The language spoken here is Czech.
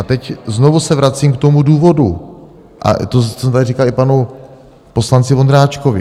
A teď znovu se vracím k tomu důvodu, a to jsem tady říkal i panu poslanci Vondráčkovi.